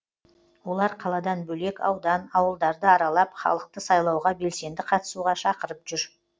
олар қаладан бөлек аудан ауылдарды аралап халықты сайлауға белсенді қатысуға шақырып жүр